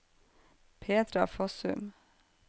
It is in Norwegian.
Petra Fossum